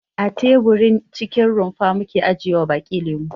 A teburin cikin rumfa muke ajiyewa baki lemo.